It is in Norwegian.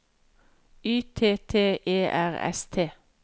Y T T E R S T